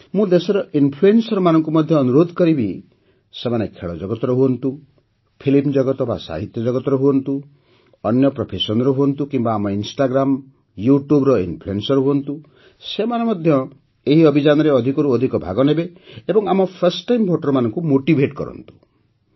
ମୁଁ ଦେଶର Influencerମାନଙ୍କୁ ମଧ୍ୟ ଅନୁରୋଧ କରିବି ଯେ ସେମାନେ ଖେଳଜଗତର ହୁଅନ୍ତୁ ଫିଲ୍ମ ଜଗତ ବା ସାହିତ୍ୟ ଜଗତର ହୁଅନ୍ତୁ ଅନ୍ୟ ପ୍ରଫେସନ୍ର ହୁଅନ୍ତୁ କିମ୍ବା ଆମ ଇନଷ୍ଟାଗ୍ରାମ ଓ YouTubeର ଇନଫ୍ଲୁଏନ୍ସର ହୁଅନ୍ତୁ ସେମାନେ ମଧ୍ୟ ଏହି ଅଭିଯାନରେ ଅଧିକରୁ ଅଧିକ ଭାଗ ନିଅନ୍ତୁ ଏବଂ ଆମ ଫର୍ଷ୍ଟ ଟାଇମ୍ Voterଙ୍କୁ ମୋଟିଭେଟ୍ କରନ୍ତୁ